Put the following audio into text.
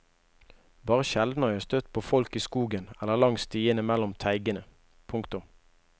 Bare sjelden har jeg støtt på folk i skogen eller langs stiene mellom teigene. punktum